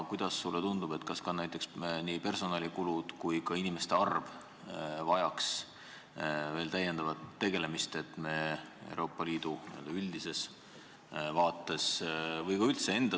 Kuidas sulle tundub, kas nii personalikulusid kui ka inimeste arvu tuleks veel täiendavalt kärpida, kui me Euroopa Liidu n-ö üldist vaadet silmas peame?